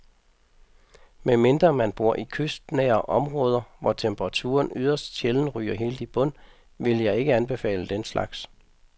Med mindre man bor i kystnære områder, hvor temperaturen yderst sjældent ryger helt i bund, vil jeg ikke anbefale den slags.